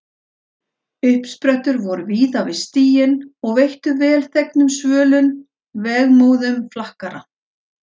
Uppsprettur voru víða við stíginn og veittu velþegna svölun vegmóðum flakkara.